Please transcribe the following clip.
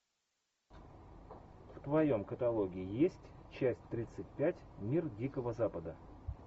в твоем каталоге есть часть тридцать пять мир дикого запада